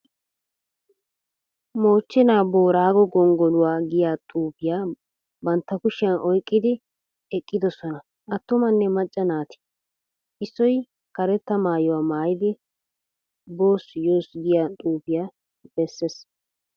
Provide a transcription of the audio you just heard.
Mochchenaa boraago gonggoluwa giya xuufiya bantta kushiyan oyqqidi eqqiddossona atummanne macca naati. Issoy karetta maayuwa maayidi boss yoss giya xuufiya bessees.